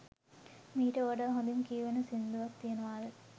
මීට වඩා හොඳීන් කියවෙන සිංදුවක් තියනවද?